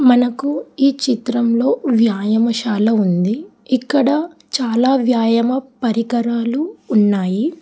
మనకు ఈ చిత్రంలో వ్యాయామషాల ఉంది ఇక్కడ చాలా వ్యాయామ పరికరాలు ఉన్నాయి.